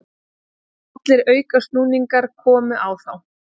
Allir aukasnúningar komu á þá.